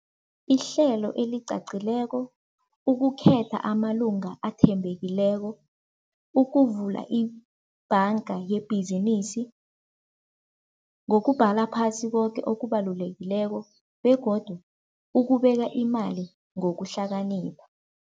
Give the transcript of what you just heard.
Ihlelo elicacileko, ukukhetha amalunga athembekileko, ukuvula ibhanga yebhizinisi, ngokubhala phasi koke okubalulekileko begodu ukubeka imali ngokuhlakanipha.